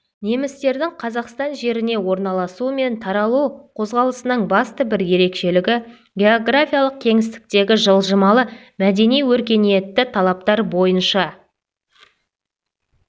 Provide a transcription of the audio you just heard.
немістердің қазақстан жеріне орналасу мен таралу қозғалысының басты бір ерекшелігі географиялық кеңістіктегі жылжымалы мәдени-өркениетті талаптар бойынша